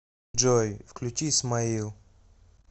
джой включи смаил